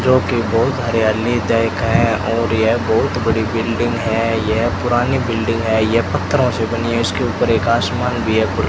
जो कि बहुत हरियाली जायका है और यह बहुत बड़ी बिल्डिंग है यह पुरानी बिल्डिंग है यह पत्थरों से बनी हुई उसके ऊपर एक आसमान भी है खु --